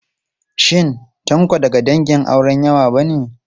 Shin Tanko daga dangin auren yawa ba ne?